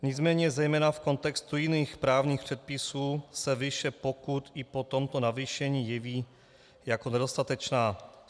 Nicméně zejména v kontextu jiných právních předpisů se výše pokut i po tomto navýšení jeví jako nedostatečná.